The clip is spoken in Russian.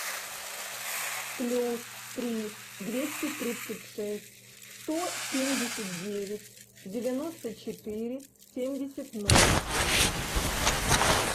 плюс три двести тридцать шесть сто семьдесят девять девяносто четыре семьдесят ноль